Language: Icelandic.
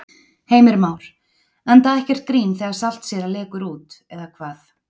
Heimir Már: Enda ekkert grín þegar saltsýra lekur út eða hvað?